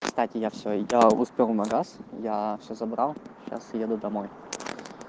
кстати я все я успел в магаз я все забрал сейчас еду домой